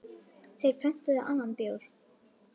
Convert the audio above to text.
Þeir pöntuðu annan bjór.